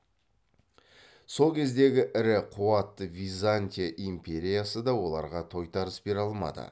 сол кездегі ірі қуатты византия империясы да оларға тойтарыс бере алмады